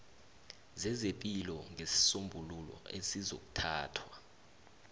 zezepilo ngesisombululo esizokuthathwa